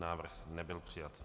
Návrh nebyl přijat.